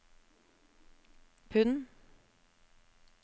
pund